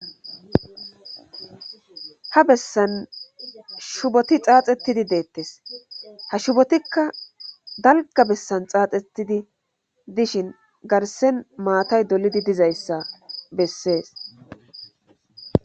Ha bessan shuboti xaaxettidi deettes ha shubotikka dalga bessan xaaxettidi dishin garsen maatay dolidi dizayssa bessees.